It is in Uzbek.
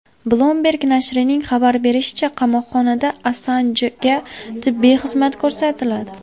Bloomberg nashrining xabar berishicha, qamoqxonada Assanjga tibbiy xizmat ko‘rsatiladi.